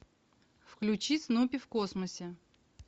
включи снупи в космосе